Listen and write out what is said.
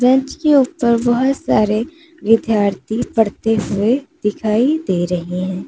Bench के ऊपर बहुत सारे विद्यार्थी पढ़ते हुए दिखाई दे रहे हैं।